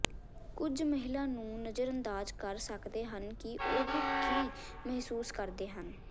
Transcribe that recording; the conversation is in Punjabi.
ਕੁਝ ਮਹਿਲਾ ਨੂੰ ਨਜ਼ਰਅੰਦਾਜ਼ ਕਰ ਸਕਦੇ ਹਨ ਕਿ ਉਹ ਕੀ ਮਹਿਸੂਸ ਕਰਦੇ ਹਨ